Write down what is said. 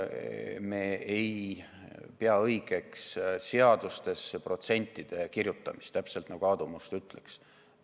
Me ei pea õigeks seadustesse protsentide kirjutamist, täpselt nii, nagu Aadu Must ütles.